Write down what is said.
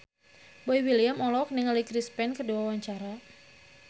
Boy William olohok ningali Chris Pane keur diwawancara